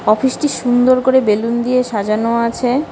অফিসটি সুন্দর করে বেলুন দিয়ে সাজানো আছে।